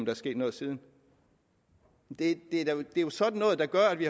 er sket noget siden det er jo sådan noget der gør at vi